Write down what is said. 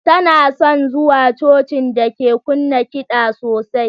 Tana son zuwa Cocin da ke kunna kiɗan sosai.